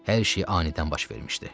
Hər şey anidən baş vermişdi.